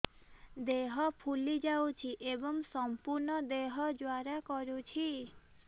ଦେହ ଫୁଲି ଯାଉଛି ଏବଂ ସମ୍ପୂର୍ଣ୍ଣ ଦେହ ଜ୍ୱାଳା କରୁଛି